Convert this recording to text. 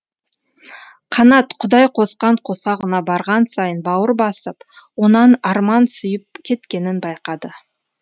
қанат құдай қосқан қосағына барған сайын бауыр басып онан арман сүйіп кеткенін байқады